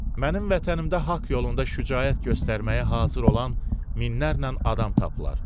Mənim vətənimdə haqq yolunda şücaət göstərməyə hazır olan minlərlə adam tapılar.